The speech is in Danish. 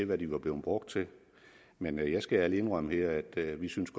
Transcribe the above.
hvad de var blevet brugt til men jeg skal ærligt indrømme her at vi synes